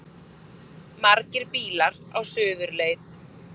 Margir bílar á suðurleið